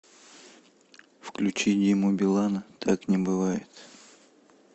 включи диму билана так не бывает